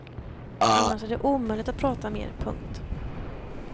Annars är det omöjligt att prata mer. punkt